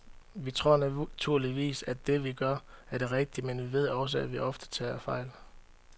Vi tror naturligvis, at det, vi gør, er det rigtige, men vi ved også, at vi ofte tager fejl.